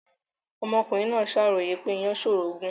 Ọmọkùnrin náà ṣàròyè wípé ìyàn ṣòro gùn